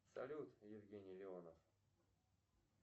салют евгений леонов